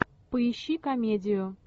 поищи комедию